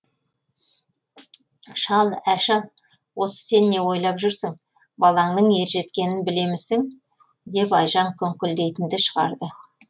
шал ә шал осы сен не ойлап жүрсін балаңның ер жеткенін білемісің деп айжан күңкілдейтінді шығарды